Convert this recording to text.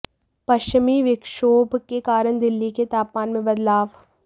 पश्चिमी विक्षोभ के कारण दिल्ली के तापमान में बदलाव